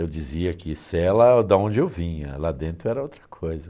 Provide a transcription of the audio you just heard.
Eu dizia que cela da onde eu vinha, lá dentro era outra coisa.